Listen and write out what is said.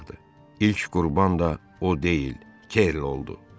İlk qurban da o deyil, Kerli oldu.